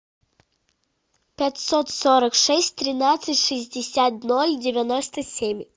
пятьсот сорок шесть тринадцать шестьдесят ноль девяносто семь